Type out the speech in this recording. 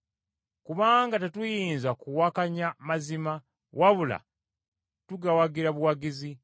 Kubanga tetuyinza kuwakanya mazima, wabula tugawagira buwagizi.